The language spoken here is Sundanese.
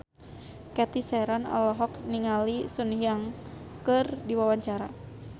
Cathy Sharon olohok ningali Sun Yang keur diwawancara